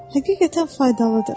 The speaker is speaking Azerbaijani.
Həqiqətən faydalıdır.